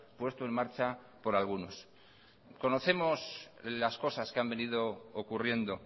puesto en marcha por algunos conocemos las cosas que han venido ocurriendo